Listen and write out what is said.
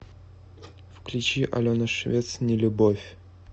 включи алена швец нелюбовь